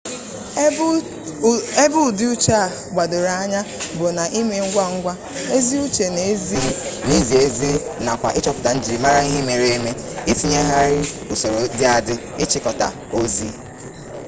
ebe udi uche a gbadoro anya bu na ime ngwa ngwa ezi uche na izi ezi nakwa ichoputa nijirimara ihe mere eme itinyeghari usoro di adi ichikota ozi